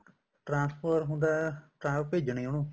transfer ਹੁੰਦਾ ਭੇਜਣੀ ਉਹਨੂੰ